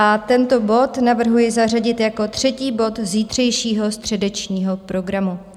A tento bod navrhuji zařadit jako třetí bod zítřejšího středečního programu.